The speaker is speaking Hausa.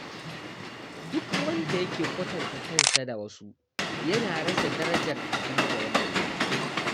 Duk wanda yake kwatanta kansa da wasu yana rasa darajar abin da ya mallaka.